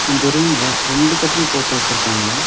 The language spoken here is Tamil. இந்த ரூம்ல ரெண்டு கட்டில் போட்டு வச்சிருக்காங்க.